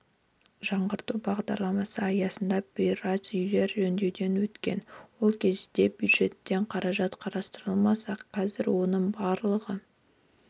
жаңғырту бағдарламасы аясында біраз үйлер жөндеуден өткен ол кезде бюджеттен қаражат қарастырылса ақзір оның барлығы